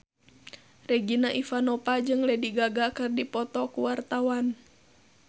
Regina Ivanova jeung Lady Gaga keur dipoto ku wartawan